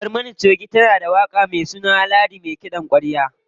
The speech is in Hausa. Barmana choge tana da waƙa me suna Ladi me kiɗan ƙwarya.